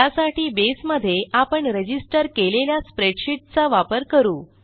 त्यासाठी बसे मध्ये आपण रजिस्टर केलेल्या स्प्रेडशीट चा वापर करू